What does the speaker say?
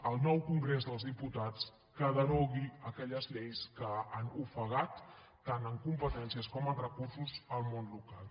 al nou congrés dels diputats que derogui aquelles lleis que han ofegat tant en competències com en recursos el món local